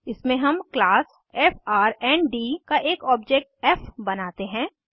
इसमें हम class friend का एक ऑब्जेक्ट फ़ बनाते हैं